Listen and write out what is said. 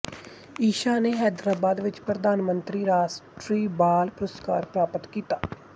ਈਸ਼ਾ ਨੇ ਹੈਦਰਾਬਾਦ ਵਿੱਚ ਪ੍ਰਧਾਨਮੰਤਰੀ ਰਾਸ਼ਟਰੀ ਬਾਲ ਪੁਰਸਕਾਰ ਪ੍ਰਾਪਤ ਕੀਤਾ